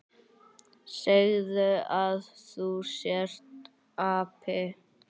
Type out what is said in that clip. Segðu að þú sért api!